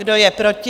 Kdo je proti?